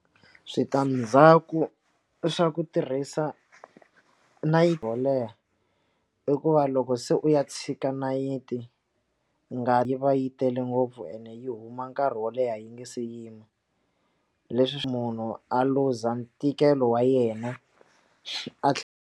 Switandzhaku swa ku tirhisa nayiti yo leha i ku va loko se u ya tshika nayiti ngati va yi tele ngopfu ene yi huma nkarhi wo leha yi nga se yima leswi munhu a luza ntikelo wa yena a tlhe.